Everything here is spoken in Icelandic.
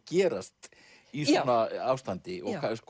gerast í svona ástandi